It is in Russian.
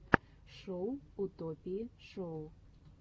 шоу утопии шоу